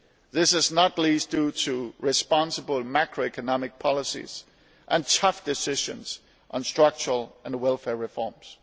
This is not least due to responsible macroeconomic policies and tough decisions on structural and welfare reforms.